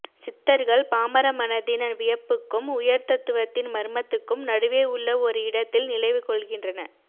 சித்தர்கள் பாமர மனத்தின் வியப்புக்கும் உயர்தத்துவத்தின் மர்மத்துக்கும் நடுவே உள்ள ஒரு இடத்தில் நிலை கொள்கின்றன